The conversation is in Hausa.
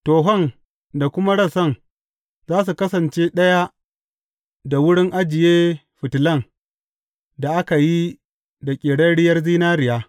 Tohon da kuma rassan za su kasance ɗaya da wurin ajiye fitilan da aka yi da ƙerarriyar zinariya.